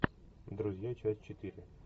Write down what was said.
друзья часть четыре